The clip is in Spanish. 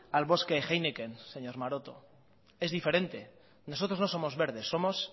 al bosque heineken señor maroto es diferente nosotros no somos verdes somos